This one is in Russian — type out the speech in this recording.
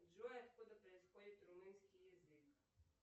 джой откуда происходит румынский язык